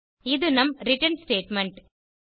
இது நம் return statement